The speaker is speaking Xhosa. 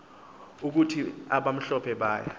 ukuthi abamhlophe baya